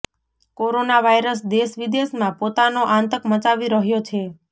corona virus દેશ વિદેશમાં પોતાનો આતંક મચાવી રહ્યો છે